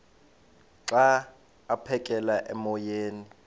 xa aphekela emoyeni